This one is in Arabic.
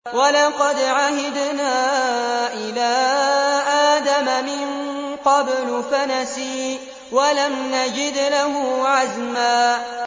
وَلَقَدْ عَهِدْنَا إِلَىٰ آدَمَ مِن قَبْلُ فَنَسِيَ وَلَمْ نَجِدْ لَهُ عَزْمًا